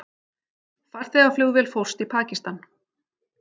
Farþegaflugvél fórst í Pakistan